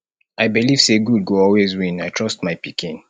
i believe say good go always win i trust my pikin